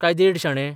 काय देड शाणे?